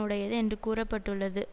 உடையது என்று கூற பட்டுள்ளது